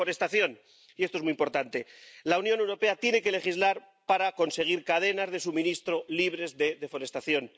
Deforestación —y esto es muy importante— la Unión Europea tiene que legislar para conseguir cadenas de suministro libres de deforestación.